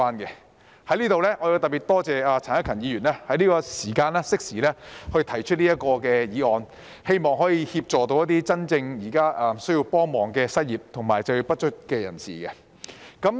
我在此特別多謝陳克勤議員適時提出這項議案，希望可以協助那些真正需要幫忙的失業及就業不足人士。